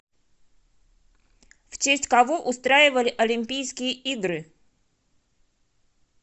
в честь кого устраивали олимпийские игры